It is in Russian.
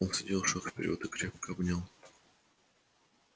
он сделал шаг вперёд и крепко обнял